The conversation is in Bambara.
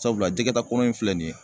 Sabula , jɛgɛtakɔnɔ in filɛ nin ye.